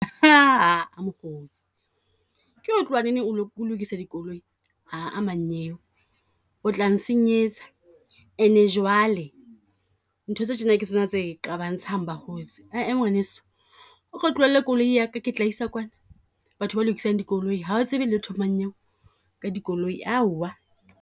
Mokgotsi, ke ho tloha neneng o lo, o lokisa dikoloi? Mmanyeo o tla nsenyetsa, ene jwale ntho tse tjena ke tsona tse qabantshang bakgotsi. Ee Ee ngwaneso, o ko tlohelle koloi ya ka ke tla isa kwana. Batho ba lokisang dikoloi ha o tsebe letho mmanyeo ka di koloi, aowa!